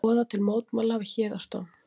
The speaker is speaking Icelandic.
Boða til mótmæla við Héraðsdóm